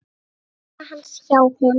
Mamma hans hjá honum.